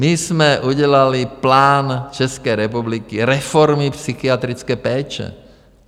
My jsme udělali plán České republiky, reformy psychiatrické péče.